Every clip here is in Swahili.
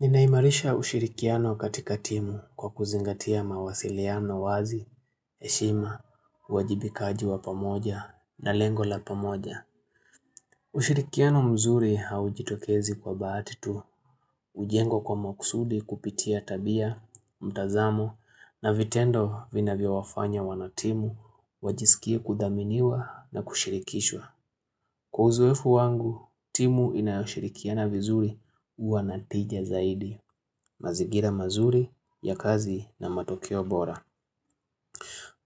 Ninaimarisha ushirikiano katika timu kwa kuzingatia mawasiliano wazi, heshima, wajibikaji wa pamoja na lengola pamoja. Ushirikiano mzuri haujitokezi kwa bahatitu, hujengwa kwa makusudi kupitia tabia, mtazamo na vitendo vina vyo wafanya wana timu, wajiskie kudhaminiwa na kushirikishwa. Kwa uzoefu wangu, timu inayoshirikiana vizuri huwa na tija zaidi, mazingira mazuri ya kazi na matokeo bora.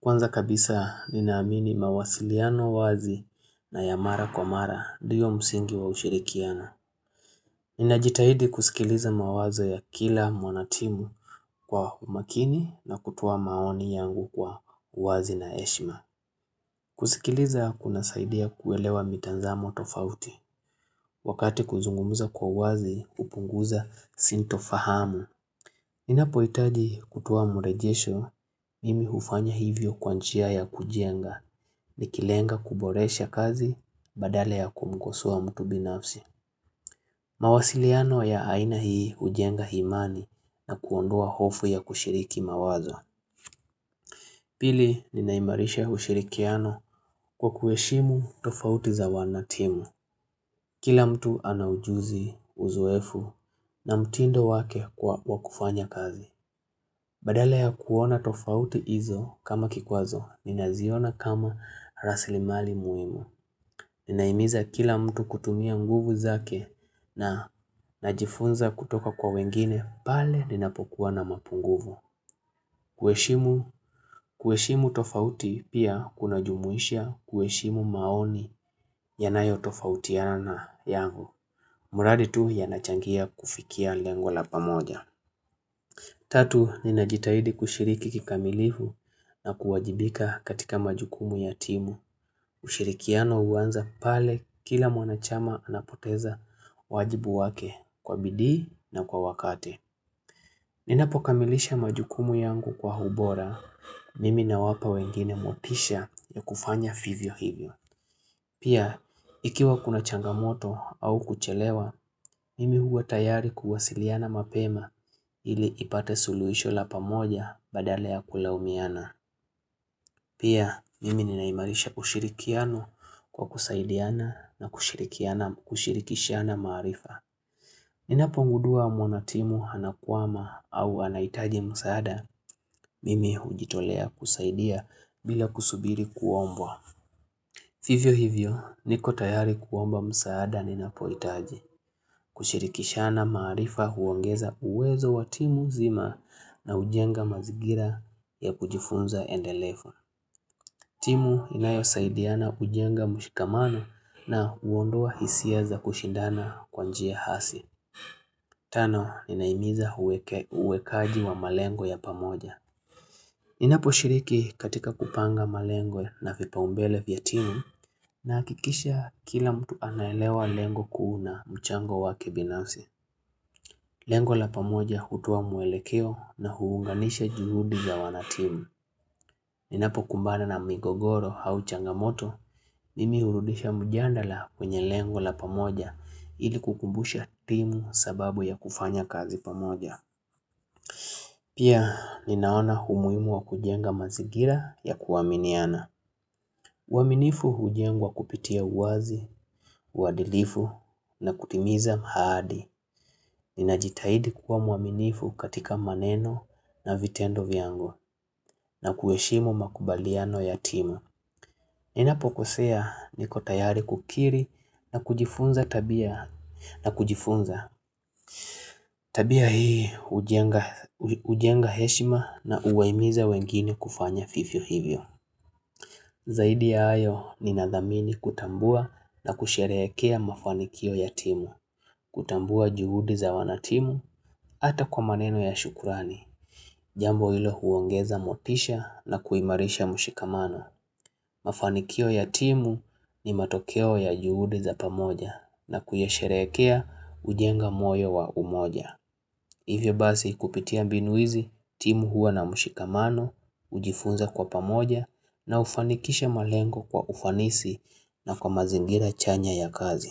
Kwanza kabisa, ninaamini mawasiliano wazi na ya mara kwa mara, ndio msingi wa ushirikiano. Ninajitahidi kusikiliza mawazo ya kila mwanatimu kwa umakini na kutoa maoni yangu kwa uwazi na heshma. Kusikiliza kuna saida kuelewa mitazamo tofauti wakati kuzungumza kwa uwazi hupunguza sinto fahamu. Nina poitaji kutuoa murejesho mimi hufanya hivyo kwa njia ya kujenga ni kilenga kuboresha kazi badala ya kumkosoa mtu binafsi. Mawasiliano ya aina hii hujenga himani na kuondoa hofu ya kushiriki mawazo. Pili, ninaimarisha ushirikiano kwa kuheshimu tofauti za wanatimu. Kila mtu anaujuzi uzoefu na mtindo wake wa wakufanya kazi. Badala ya kuona tofauti hizo kama kikwazo, nina ziona kama rasilimali muhimu. Ninaimiza kila mtu kutumia nguvu zake na najifunza kutoka kwa wengine, pale ninapokuwa na mapu nguvu. Kueshimu tofauti pia kuna jumuisha kueshimu maoni yanayo tofautiana yangu. Muradi tu yanachangia kufikia lengo lapa moja. Tatu, ninajitahidi kushiriki kikamilifu na kuwajibika katika majukumu yatimu. Ushirikiano huanza pale kila mwanachama anapoteza wajibu wake kwa bidii na kwa wakati Ninapo kamilisha majukumu yangu kwa hubora, mimi na wapa wengine motisha ya kufanya vivyo hivyo. Pia, ikiwa kuna changamoto au kuchelewa, mimi huwa tayari kuwasiliana mapema ili ipate suluhisho lapa moja badala ya kulaumiana. Pia, mimi ninaimarisha ushirikiano kwa kusaidiana na kushirikiana kushirikishiana marifa. Ninapongudua mwana timu anakwama au anaitaji msaada, mimi hujitolea kusaidia bila kusubiri kuombwa. Fivyo hivyo, niko tayari kuomba msaada ninapoitaji. Kushirikisha na maarifa huongeza uwezo wa timu zima na ujenga mazigira ya kujifunza endelefu timu inayo saidiana ujenga mshikaman na huondoa hisia za kushindana kwanjia hasi. Tano, ninaimiza uweke uwekaji wa malengo ya pamoja. Ninapo shiriki katika kupanga malengo na vipa umbele vya timu na akikisha kila mtu anaelewa lengo kuuna mchango wa kebinasi. Lengo la pamoja hutoa mwelekeo na huunganisha jujudi ya wana timu. Ninapo kumbana na migogoro auchangamoto, mimi urudisha mjandala kwenye lengo la pamoja ili kukumbusha timu sababu ya kufanya kazi pamoja. Pia ninaona umuhimu wa kujenga mazingira ya kuaminiana. Uaminifu hujengwa kupitia uwazi, uadilifu na kutimiza maadi. Ninajitahidi kuwa mwaminifu katika maneno na vitendo viango na kuheshimu makubaliano ya timu. Ninapo kosea niko tayari kukiri na kujifunza tabia. Na kujifunza, tabia hii ujenga heshima na uwaimiza wengine kufanya fifio hivyo Zaidi ya ayo ni nadhamini kutambua na kusherehekea mafanikio ya timu kutambua juhudi za wanatimu ata kwa maneno ya shukurani Jambo hilo huongeza motisha na kuimarisha mshikamano Mafanikio ya timu ni matokeo ya juhudi za pamoja na kuyasherekea kujenga moyo wa umoja Hivyo basi kupitia mbinu hizi, timu huwa na mshikamano, ujifunza kwa pamoja na hufanikisha malengo kwa ufanisi na kwa mazingira chanya ya kazi.